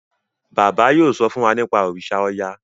bàbá yóò so fún wá nipa òrìṣà oya.